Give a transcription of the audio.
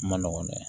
Ma nɔgɔ dɛ